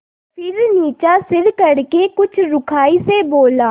फिर नीचा सिर करके कुछ रूखाई से बोला